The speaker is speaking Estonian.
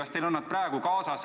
Kas teil on need praegu kaasas?